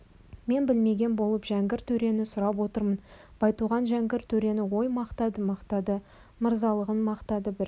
мен білмеген болып жәңгір төрені сұрап отырмын байтуған жәңгір төрені ой мақтады мақтады мырзалығын мақтады бір